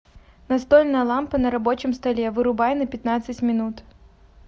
настольная лампа на рабочем столе вырубай на пятнадцать минут